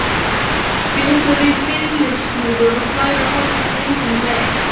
Fitlar við stilliskrúfu og slær á falska strenginn um leið.